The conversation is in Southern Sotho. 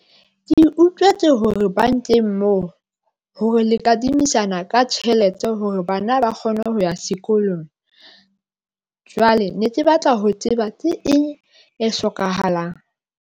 Ke utlwetse hore bankeng moo hore le kadimisana ka tjhelete hore bana ba kgone ho ya sekolong. Jwale ne ke batla ho tseba. Ke eng e hlokahalang?